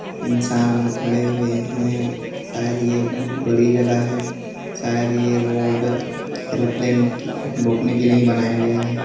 इंसान लोग खड़े हुए हैं शायद ये बहुत बड़ी जगह है शायद ये रोड एरोप्लेन रुकने के लिए ही बनाया गया है।